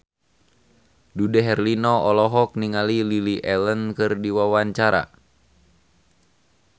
Dude Herlino olohok ningali Lily Allen keur diwawancara